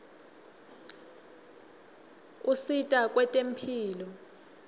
usita kwetemphilo